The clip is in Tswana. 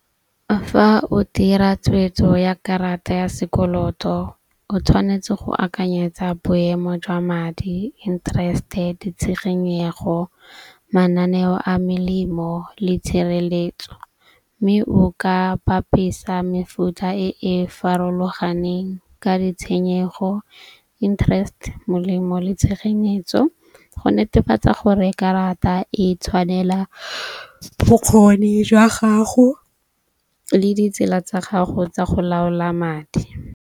Fa o dira tshwetso ya karata ya sekoloto o tshwanetse go akanyetsa boemo jwa madi, interest-e, ditshegenyego, mananeo a melemo le tshireletso. Mme o ka papisa mefuta e e farologaneng ka ditshenyego, interest, molemo le tshegenyetso, go netefatsa gore karata e tshwanela bokgoni jwa gago le ditsela tsa gago tsa go laola madi.